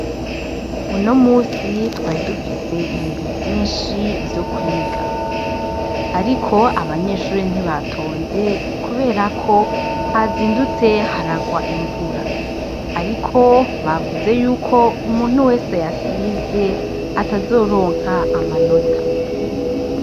Uno musi twari dufise ibintu vyinshi vyo kwiga ariko abanyeshure ntibatonze kuberako hazindutse haragwa imvura. Ariko bavuze yuko umuntu wese yasivye, bavuze yuko atazoronka amanota.